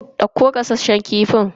Dauko gasasshen kifin.